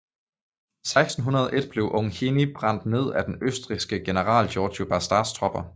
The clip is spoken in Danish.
I 1601 blev Ungheni brændt ned af den østrigske general Giorgio Bastas tropper